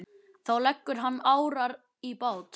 Þá leggur hann árar í bát.